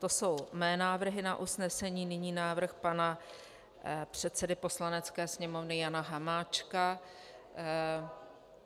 To jsou mé návrhy na usnesení, nyní návrh pana předsedy Poslanecké sněmovny Jana Hamáčka.